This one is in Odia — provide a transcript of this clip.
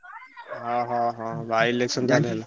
ଅହ ହ by-election ତାହେଲେ ।